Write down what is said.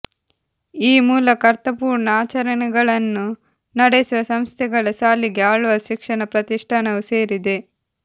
ಈ ಮೂಲಕ ಅರ್ಥಪೂರ್ಣ ಆಚರಣೆಗಳನ್ನು ನಡೆಸುವ ಸಂಸ್ಥೆಗಳ ಸಾಲಿಗೆ ಆಳ್ವಾಸ್ ಶಿಕ್ಷಣ ಪ್ರತಿಷ್ಠಾನವೂ ಸೇರಿದೆ